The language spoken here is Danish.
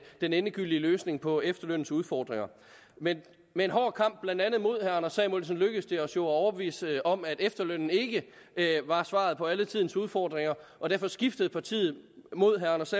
den endegyldige løsning på efterlønnens udfordringer med med en hård kamp mod blandt andet herre anders samuelsen lykkedes det os jo at overbevise om at efterlønnen ikke var svaret på alle tidens udfordringer og derfor skiftede partiet mod herre anders